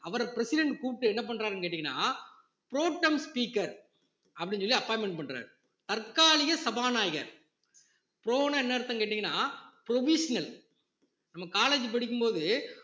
அவரை president கூப்பிட்டு என்ன பண்றாருன்னு கேட்டீங்கன்னா protem speaker சொல்லி appointment பண்றாரு தற்காலிக சபாநாயகர் pro ன்னா என்ன அர்த்தம்னு கேட்டீங்கன்னா provisional நம்ம college படிக்கும் போது